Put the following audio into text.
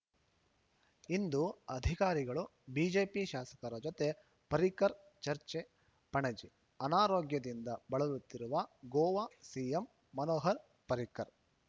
ಇಂದು ಅಧಿಕಾರಿಗಳು ಬಿಜೆಪಿ ಶಾಸಕರ ಜೊತೆ ಪರ್ರಿಕರ್ ಚರ್ಚೆ ಪಣಜಿ ಅನಾರೋಗ್ಯದಿಂದ ಬಳಲುತ್ತಿರುವ ಗೋವಾ ಸಿಎಂ ಮನೋಹರ್‌ ಪರ್ರಿಕರ್‌